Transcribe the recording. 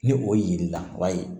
Ni o yeli la ba ye